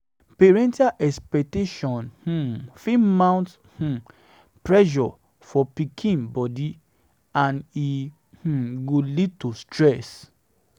parental expectation um fit mount um pressure for pikin pikin body and e um go lead to stress